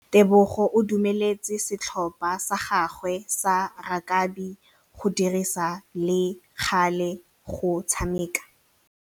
Tebogô o dumeletse setlhopha sa gagwe sa rakabi go dirisa le galê go tshameka.